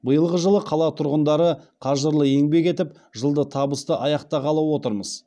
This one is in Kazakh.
биылғы жылы қала тұрғындары қажырлы еңбек етіп жылды табысты аяқтағалы отырмыз